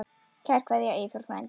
Kær kveðja, Eyþór frændi.